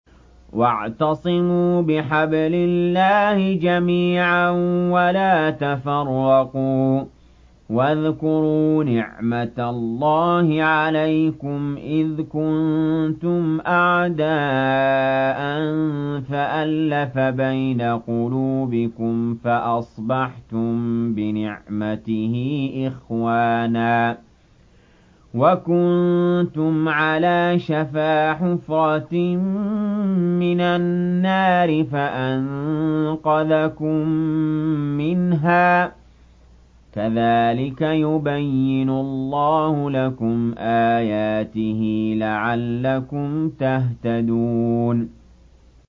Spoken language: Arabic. وَاعْتَصِمُوا بِحَبْلِ اللَّهِ جَمِيعًا وَلَا تَفَرَّقُوا ۚ وَاذْكُرُوا نِعْمَتَ اللَّهِ عَلَيْكُمْ إِذْ كُنتُمْ أَعْدَاءً فَأَلَّفَ بَيْنَ قُلُوبِكُمْ فَأَصْبَحْتُم بِنِعْمَتِهِ إِخْوَانًا وَكُنتُمْ عَلَىٰ شَفَا حُفْرَةٍ مِّنَ النَّارِ فَأَنقَذَكُم مِّنْهَا ۗ كَذَٰلِكَ يُبَيِّنُ اللَّهُ لَكُمْ آيَاتِهِ لَعَلَّكُمْ تَهْتَدُونَ